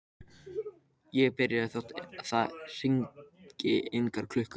Ég get byrjað þótt það hringi engar klukkur.